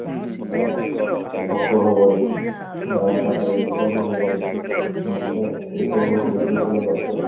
ଅ ଭୋକ ହବନି ଆଉ ତାପରେ ନିଦବି ହବନି ଏସବୁ ହଉଛି depression ର ଲକ୍ଷଣ